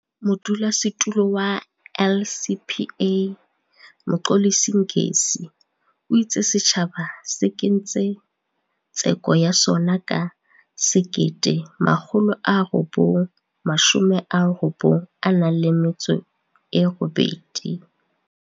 Modulasetulo wa LCPA, Mxolisi Ngesi, o itse setjhaba se kentse tseko ya sona ka 1998.